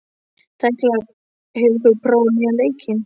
Tekla, hefur þú prófað nýja leikinn?